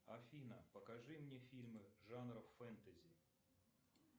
афина покажи мне фильмы жанра фэнтези